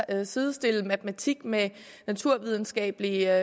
at sidestille matematik med naturvidenskabelige